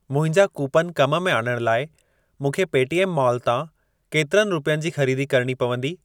मुंहिंजा कूपन कम में आणण लाइ मूंखे पेटीएम माॅल तां केतिरनि रुपियनि जी ख़रीदी करिणी पवंदी?